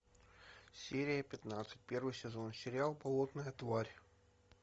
серия пятнадцать первый сезон сериал болотная тварь